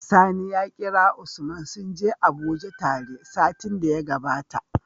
Sani ya kira usman sunje abuje tare satin da ya gabata